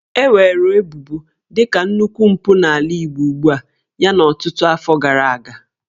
E weere ebubo dị ka nnukwu mpụ n'ala Igbo ugbua yana ọtụtụ afọ gara aga